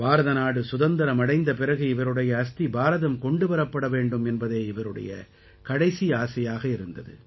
பாரதநாடு சுதந்திரம் அடைந்த பிறகு இவருடைய அஸ்தி பாரதம் கொண்டு வரப்பட வேண்டும் என்பதே இவருக்கு இருந்த கடைசி ஆசையாக இருந்தது